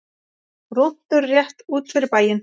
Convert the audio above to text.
Rúntur rétt út fyrir bæinn.